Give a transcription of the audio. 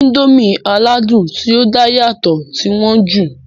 Índòmí aládùn ti o da yàtọ̀ ti wọn jù.